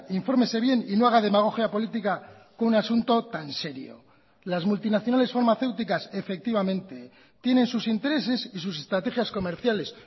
infórmese bien y no haga demagogia política con un asunto tan serio las multinacionales farmacéuticas efectivamente tienen sus intereses y sus estrategias comerciales